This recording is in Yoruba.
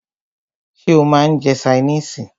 Ṣé o máà ń jẹ́ oúnjẹ ṣaínìisì?